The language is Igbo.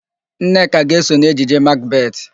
Nneka ga-eso n'ejije Makbetị.